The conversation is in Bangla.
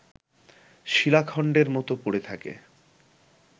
শিলাখন্ডের মতো পড়ে থাকে